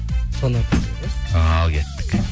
соны ал кеттік